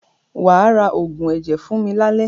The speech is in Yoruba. Wà á ra oògùn ẹ̀jẹ̀ fún mi lálẹ́!